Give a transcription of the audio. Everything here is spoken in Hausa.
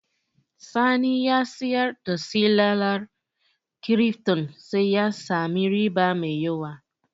Sani ya siyar da silalar kirifton sa ya sami riba mai yawa